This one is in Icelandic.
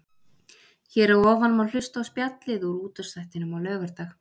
Hér að ofan má hlusta á spjallið úr útvarpsþættinum á laugardag.